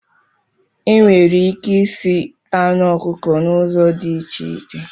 Enwere ike isi anụ ọkụkọ na ụzọ dị iche iche